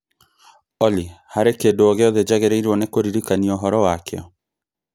Olly harĩ kĩndũ o gĩothe njagĩrĩirũo nĩ kũririkanwo ũhoro wakĩo